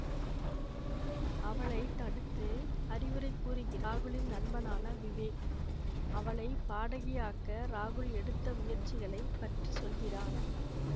அவளை தடுத்து அறிவுரை கூறுகிறான் ராகுலின் நண்பனான விவேக் அவளை பாடகியாக்க ராகுல் எடுத்த முயற்சிகளை பற்றி சொல்கிறான்